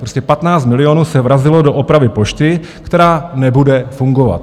Prostě 15 milionů se vrazilo do opravy pošty, která nebude fungovat.